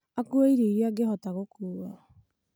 akue irio iria angĩhota gũkua